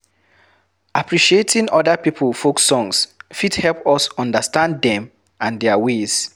Appreciating oda pipo folk songs fit help us understand dem and their ways